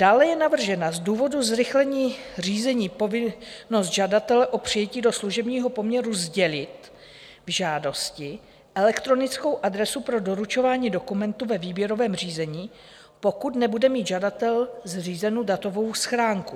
Dále je navržena z důvodu zrychlení řízení povinnost žadatele o přijetí do služebního poměru sdělit v žádosti elektronickou adresu pro doručování dokumentů ve výběrovém řízení, pokud nebude mít žadatel zřízenu datovou schránku.